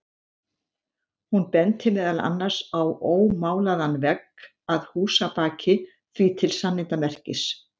Hún benti meðal annars á ómálaðan vegg að húsabaki, því til sannindamerkis.